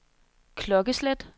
klokkeslæt